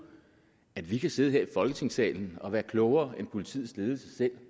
at vi kan sidde her i folketingssalen og være klogere end politiets ledelse selv